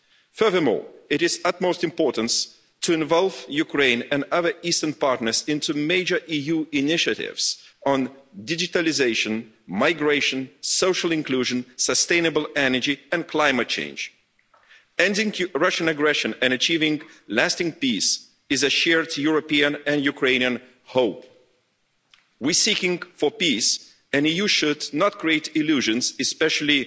Furthermore, it is of utmost importance to involve Ukraine and other Eastern partners in major EU initiatives on digitalisation, migration, social inclusion, sustainable energy and climate change. Ending Russian aggression and achieving lasting peace is a shared European and Ukrainian hope. We are seeking peace and the EU should not create illusions, especially